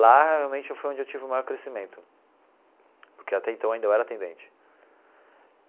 Lá realmente foi onde eu tive o maior crescimento, porque até então ainda eu era atendente.